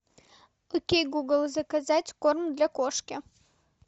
окей гугл заказать корм для кошки